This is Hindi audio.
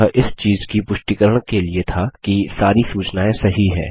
यह इस चीज़ की पुष्टिकरण के लिए था कि सारी सूचनाएँ सही है